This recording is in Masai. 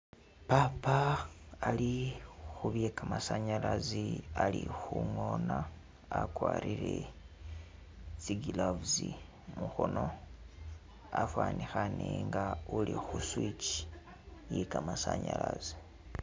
Papa ali khubye kamasanyalasi khangona wakwarile tsi'gloves mukhono wafanikhane nga uli khu'switch iye kamasanyalasi